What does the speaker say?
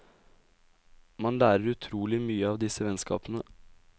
Man lærer utrolig mye av disse vennskapene.